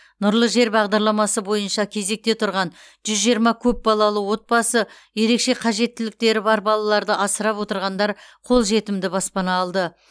нұрлы жер бағдарламасы бойынша кезекте тұрған жүз жиырма көпбалалы отбасы ерекше қажеттіліктері бар балаларды асырап отырғандар қолжетімді баспана алды